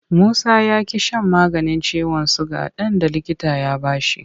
Musa ya ƙi shan maganin ciwon suga ɗin da likita ya ba shi.